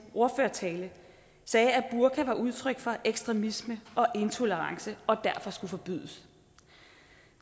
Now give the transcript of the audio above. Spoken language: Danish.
ordførertale sagde at burka var udtryk for ekstremisme og intolerance og derfor skulle forbydes